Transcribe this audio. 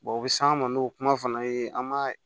u bɛ s'an ma n'o kuma fana ye an m'a